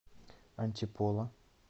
антиполо